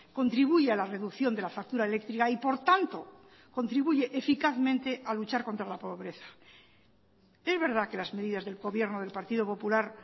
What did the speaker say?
contribuye a la reducción de la factura eléctrica y por tanto contribuye eficazmente a luchar contra la pobreza es verdad que las medidas del gobierno del partido popular